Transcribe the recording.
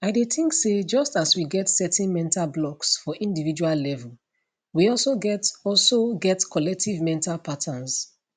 i dey think say just as we get certain mental blocks for individual level we also get also get collective mental patterns